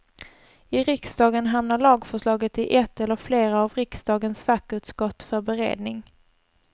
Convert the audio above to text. I riksdagen hamnar lagförslaget i ett eller flera av riksdagens fackutskott för beredning.